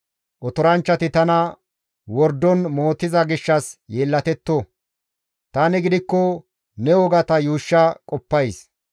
Otoranchchati tana wordon mootiza gishshas yeellatetto. Tani gidikko ne wogata yuushsha qoppays.